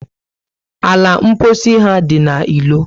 Ala mposi ha dị na ilo